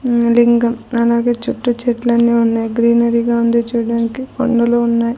ఉమ్ లింగం అలాగే చుట్టూ చెట్లని ఉన్నాయి గ్రీనరీ గా ఉంది చూడడానికి కొండలు ఉన్నాయి.